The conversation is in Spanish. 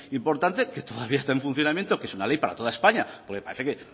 importante que todavía está en funcionamiento que es una ley para toda españa parece que